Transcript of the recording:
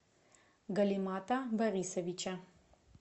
галимата борисовича